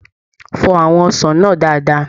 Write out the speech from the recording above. Fọ àwọn ọsàn náà dáadáa.